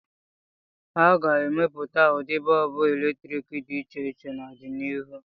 A ga-emepụta ụdị bọọbụ eletrik dị iche iche n'ọdịnihu.